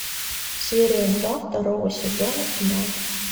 серия два второго сезона тьма